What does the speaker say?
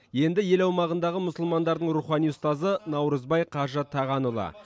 енді ел аумағындағы мұсылмандардың рухани ұстазы наурызбай қажы тағанұлы